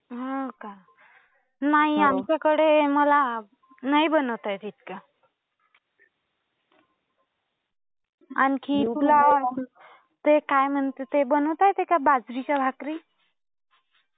नाही. आमच्याकडे मला नाही बनवता येत इतकं. आणखी, तुला ते काय म्हणतात ते बनवता येते का बाजरीच्या भाकरी?